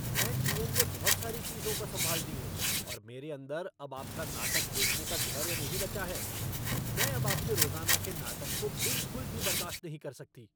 मैं जीवन में बहुत सारी चीजों को संभालती हूँ और मेरे अंदर अब आपका नाटक देखने का धैर्य नहीं बचा है। मैं अब आपके रोज़ाना के नाटक को बिलकुल भी बर्दाश्त नहीं कर सकती।